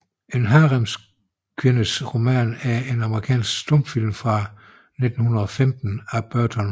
En haremskvindes roman er en amerikansk stumfilm fra 1915 af Burton L